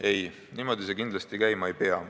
Ei, niimoodi see kindlasti käima ei pea.